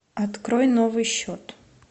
открой новый счет